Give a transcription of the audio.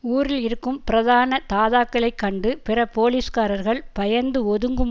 ஊரில் இருக்கும் பிரதான தாதாக்களை கண்டு பிற போலீஸ்காரர்கள் பயந்து ஒதுங்கும்